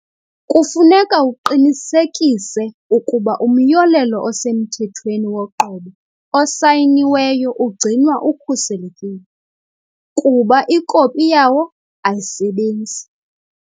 Kufuneka uqinisekise ukuba umyolelo osemthethweni woqobo osayiniweyo ugcinwa ukhuselekile, kuba ikopi yawo ayisebenzi.